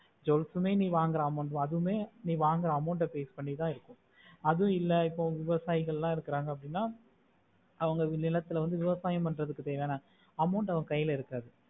jewels மே நீ வாங்குற amount அதுமே நீ வாங்குற amount base பண்ணித்தான் இருக்கு அதுவும் இல்லே இப்போ விவசாயிகள்ள இருக்கங்கா அப்புடின்னா அவங்க சில நேரத்துல விவசாயம் பண்ண தேவையான amount அவங்க கைலே இருக்காது